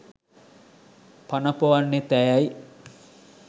පන ‍පොවන්නෙත් ඇයයි.